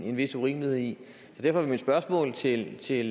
en vis urimelighed i så derfor vil mit spørgsmål til til